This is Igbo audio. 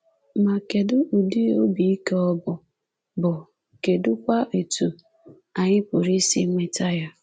Ma kedụ ụdị obi ike ọ bụ, bụ, kedụkwa etu anyị pụrụ isi nweta ya?